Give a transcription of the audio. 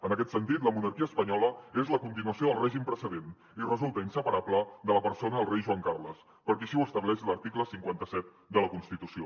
en aquest sentit la monarquia espanyola és la continuació del règim precedent i resulta inseparable de la persona del rei joan carles perquè així ho estableix l’article cinquanta set de la constitució